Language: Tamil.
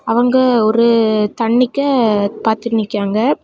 அவங்க ஒரு தண்ணிக்க பாத்துட்டு நிக்காங்க.